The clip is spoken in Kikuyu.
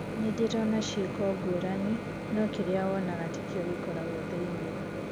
Nindĩrona cieko ngũrani, nũũ kĩriawonaga tikio gĩkoragwo thĩine